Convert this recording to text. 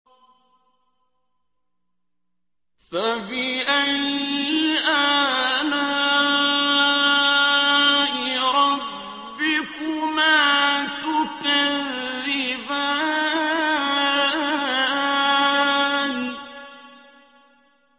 فَبِأَيِّ آلَاءِ رَبِّكُمَا تُكَذِّبَانِ